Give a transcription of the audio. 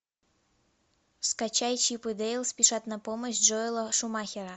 скачай чип и дейл спешат на помощь джоэла шумахера